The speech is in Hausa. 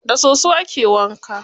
Da soso ake wanka.